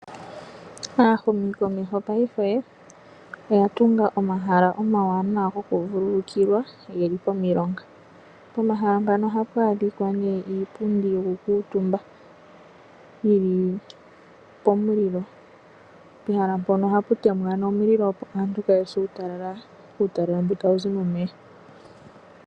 Aahumikomeho paife oya tunga omahala omawanawa gokuvululukilwa ge li pomilonga. Pomahala mpano ohapu adhika nduno iipundi yokukuutumba yi li pomulilo. Pehala mpono ohapu temwa omulilo, opo aantu kaya se uutalala mboka tawu zi momeya.